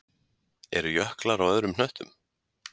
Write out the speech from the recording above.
Eru jöklar á öðrum hnöttum?